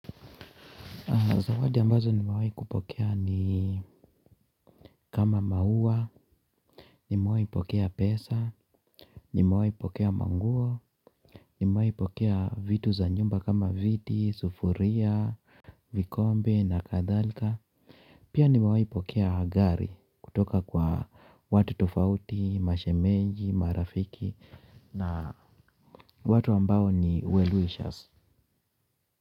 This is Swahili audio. Zawadi ambazo nimewai kupokea ni kama mauwa, nimewai pokea pesa, nimewai pokea manguo, nimewai pokea vitu za nyumba kama viti, sufuria, vikombe na kadhalika. Pia nimewai pokea gari kutoka kwa watu tofauti, mashemeji, marafiki na watu ambao ni wellwishers.